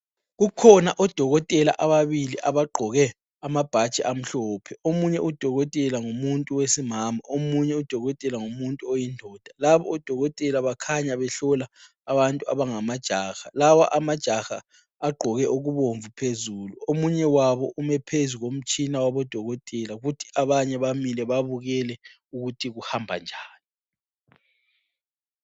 Kukhona odokotela ababili abagoke amabhatshi amhlophe, omunye udokotela ngumuntu wesimama, omunye udokotela ngumuntu oyindoda, labo odokotela bakhanya behlola abantu abangamajaha, lawa amajaha agqoke okubomvu phezulu, omunye wabo ume phezu komtshina waba dokotela kuthi abanye bamile babukele ukuthi kuhamba njani.